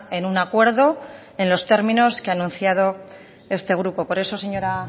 en un acuerdo en los términos que ha anunciado este grupo por eso señora